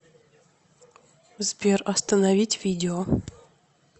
сбер остановить видео